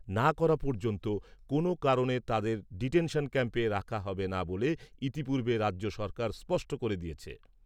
করা পর্যন্ত কোনও কারণে তাদের ডিটেনশন ক্যাম্পে রাখা হবে না বলে ইতিপূর্বে রাজ্য সরকার স্পষ্ট করে দিয়েছে।